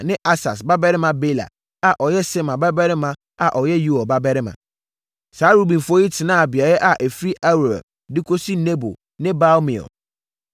ne Asas babarima Bela a ɔyɛ Sema babarima a ɔyɛ Yoɛl babarima. Saa Rubenfoɔ yi tenaa beaeɛ a ɛfiri Aroer de kɔsi Nebo ne Baal-Meon.